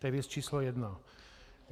To je věc číslo jedna.